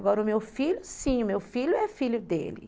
Agora, o meu filho, sim, o meu filho é filho dele.